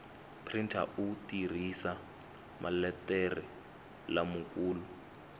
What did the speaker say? printa u tirhisa maletere lamakulu